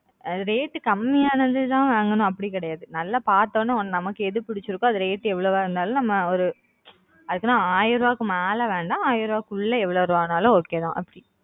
rate கம்மியானது தான் வாங்கணும் அப்பிடி கிடையாது நல்லா பார்த்த ஒடனே நமக்கு எது புடிச்சிருக்கோ அது rate எவ்ளோவா இருந்தாலும் நம்ம ஒரு அதுக்குன்னு ஆயிரம் ரூபாய்க்கு மேல வேணாம் ஆயிரம் ரூபாய்க்குள்ள எவளோ ருபாய் நாளும் okay தான் அப்பிடி